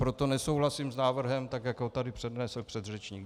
Proto nesouhlasím s návrhem tak, jak ho tady přednesl předřečník.